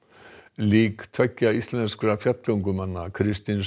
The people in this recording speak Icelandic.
lík tveggja íslenskra fjallgöngumanna Kristins